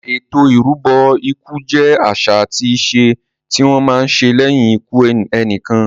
Ètò ìrúbọ ikú jẹ àṣà àti ìṣe tí wọ́n má ń ṣe lẹ́yìn ikú ẹnìkan.